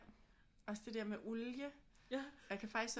Også det der med olie jeg kan faktisk